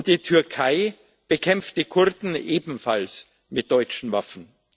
Die Türkei bekämpft die Kurden ebenfalls mit deutschen Waffen.